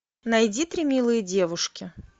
найди три милые девушки